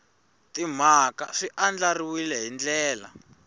timhaka swi andlariwile hi ndlela